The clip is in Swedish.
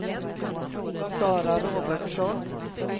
Sara Robertsson